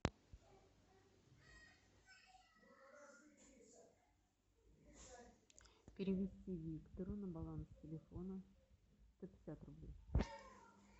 переведи виктору на баланс телефона сто пятьдесят рублей